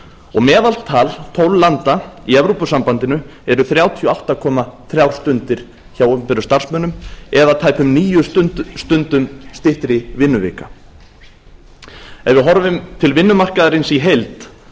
og meðaltal tólf landa í evrópusambandinu eru þrjátíu og átta komma þrjú stundir hjá opinberum starfsmönnum eða tæpum níu stundum styttri vinnuvika ef við horfum til vinnumarkaðarins í heild